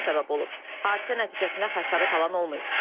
Hadisə nəticəsində xəsarət alan olmayıb.